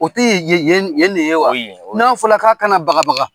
O tɛ yen yen ne ye wa? O ye yen ye . N'a fɔra k'a kana bagabaga